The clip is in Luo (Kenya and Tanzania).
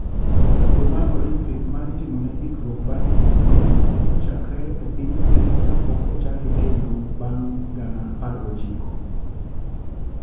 Tugo mar olimpik ma itimo ne ikruok bang higni agwen ne ochakore e piny grik ka pok ochake kendo band gana 19.